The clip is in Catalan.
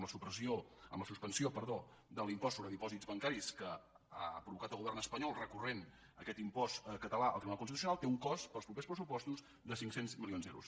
la suspensió de l’impost sobre dipòsits bancaris que ha provocat el govern espanyol recorrent aquest impost català al tribunal constitucional té un cost per als propers pressupostos de cinc cents milions d’euros